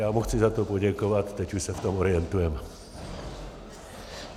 Já mu chci za to poděkovat, teď už se v tom orientujeme.